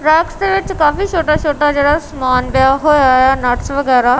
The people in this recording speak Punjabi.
ਟਰੱਕਸ ਦੇ ਵਿੱਚ ਕਾਫੀ ਛੋਟਾ ਛੋਟਾ ਜਿਹੜਾ ਸਮਾਨ ਪਿਆ ਹੋਇਆ ਆ ਨਟਸ ਵਗੈਰਾ।